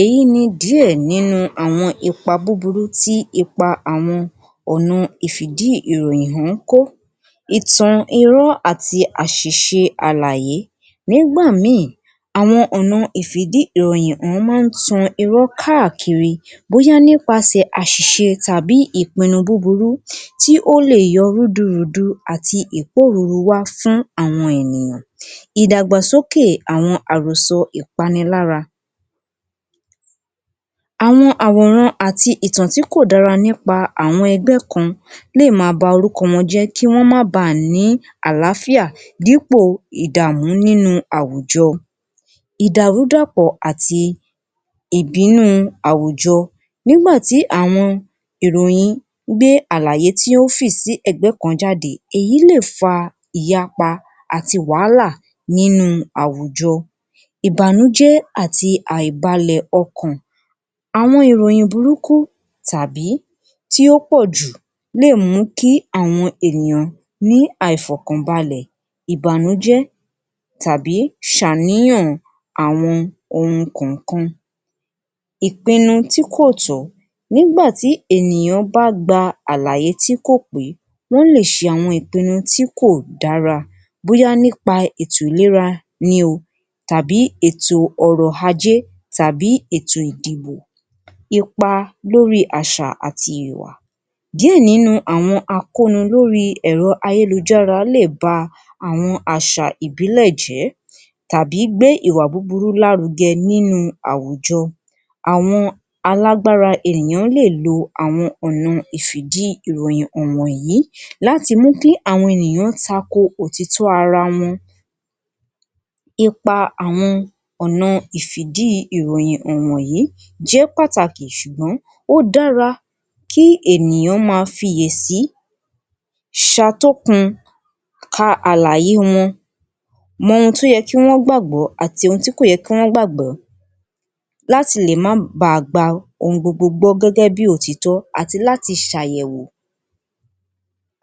Èyí ni díẹ̀ nínú àwọn ipa búburú tí ipa àwọn ọ̀nà ìfi ìdí ìròyìn ń kó ìtàn irọ́ àti àṣìṣe àlàyé nígbà ìmí àwọn ọ̀nà ìfi ìdí ìròyìn máa ń tan irọ́ káàkiri bóyá nípa sè àṣìṣe tàbí ìpínu búburú tí ó lè yọ rúdurùdu àti ìkóruru wá fún àwọn ènìyàn ìdàgbàsókè àwọn àròso ìpáni lára. Àwọn àwòrán àti ìtàn tí kò dára nípa àwọn ẹgbẹ́ kan lè mà ba orúkọ wọn jẹ́ kí wọ́n máa bà ní àlàáfíà dípò ìdààmú nínú àwùjọ ìdàrú dàpọ̀ àti ìbínú àwùjọ nígbà tí àwọn ìròyìn gbé àlàyé tí ó fì sí ègbé kan jáde èyí lè fa ìyápa àti wàhálà nínú àwùjọ ìbànújẹ́ àti àìbalẹ́ ọkàn. Àwọn ìròyìn burúkú tàbí tí ó pọ̀jù lè mú kí àwọn ènìyàn ní àìfọkànbàlẹ̀ ìbànújẹ́ tàbí ṣe àníyàn àwọn ohun kan kan. ìpínu tí kò tó, nígbà tí ènìyàn bá gba àlàyé tí kò pé ló lè ṣe àwọn ìpínu tí kò dára bóyá nípa ètò ìléra ni ó tàbí ètò ọ̀rọ̀ ajẹ́ tàbí ètò ìdìbò ipa lórí àṣà àti ìwà díè nínú àwọn akónú lórí ẹ̀ro ayélujára lè bá àwọn àṣà ìbílẹ̀ jẹ́ tàbí gbé ìwà búburú lárugẹ nínú àwùjọ àwọn alágbára ènìyàn lè lo àwọn ọ̀nà ìfi ìdí ìròyìn hàn ni wọ̀nyìí láti mú kí àwọn ènìyàn tako òtítọ́ ara wọn nípa àwọn ọ̀nà ìfi ìdí ìròyìn hàn ni wọ̀nyìí jẹ́ pàtàkì ṣùgbọ́n ó dára kí àwọn ènìyàn ma fi ìyè sí ṣe atókun ka àlàyé wọn, mo ohun tí ó kàn wọn àti nǹkan tí kò yẹ kí wọ́n gbàgbọ́ láti lè ma gba ohun gbogbo gẹ́gẹ́ bí òtítọ́ àti láti ṣe àyẹ̀wò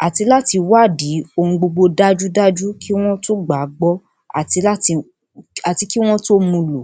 àti láti wádìí ohun gbogbo dájúdájú kí wọ́n tú gbàgbọ́ àti kí wọ́n tú mu lò.